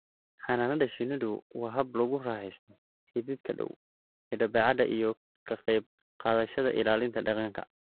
Xannaanada shinnidu waa hab lagu raaxaysto xidhiidhka dhow ee dabeecadda iyo ka qayb qaadashada ilaalinta deegaanka.